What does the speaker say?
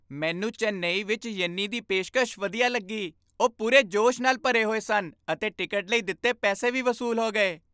ਮੈਨੂੰ ਚੇਨਈ ਵਿੱਚ ਯੰਨੀ ਦੀ ਪੇਸ਼ਕਸ਼ ਵਧੀਆ ਲੱਗੀ। ਉਹ ਪੂਰੇ ਜੋਸ਼ ਨਾਲ ਭਰੇ ਹੋਏ ਸਨ ਅਤੇ ਟਿਕਟ ਲਈ ਦਿੱਤੇ ਪੈਸੇ ਵੀ ਵਸੂਲ ਹੋ ਗਏ।